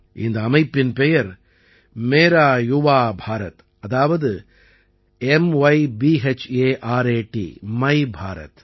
இந்த அமைப்பின் பெயர் மேரா யுவா பாரத் அதாவது மைபாரத்